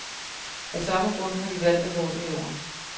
Af samme grund har de valgt at gå under jorden.